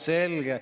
Selge.